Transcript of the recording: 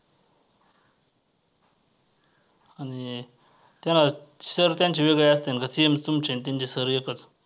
आणि त्यांना sir त्यांचे वेगळे असत्यात का same तुमचे आणि त्यांचे sir एकच?